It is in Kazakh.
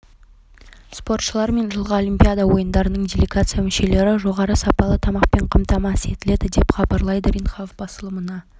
спортшылар мен жылғы олимпиада ойындарының делегация мүшелері жоғары сапалы тамақпен қамтамасыз етіледі деп хабарлайды ренхап басылымына